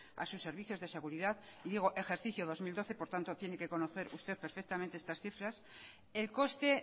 a sus servicios de seguridad y digo ejercicio dos mil doce por tanto tiene que conocer usted perfectamente estas cifras el coste